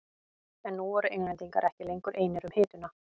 En nú voru Englendingar ekki lengur einir um hituna.